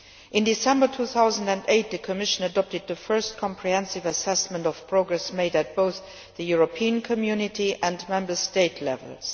In December 2008, the Commission adopted the first comprehensive assessment of progress made at both European Community and Member State levels.